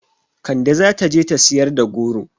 Kande zata je ta siyar da goro